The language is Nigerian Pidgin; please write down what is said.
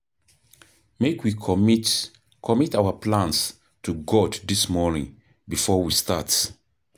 Make we commit commit our plans to God this morning before we start.